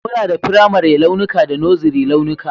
Muna da firamare launuka da Nursery launuka